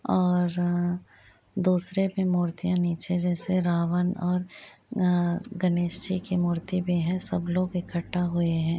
और अ दूसरे पे मुर्तियाँ नीचे जैसे रावन और अ गणेश जी की मूर्ति भी है सब लोग इकठ्ठा हुए हैं।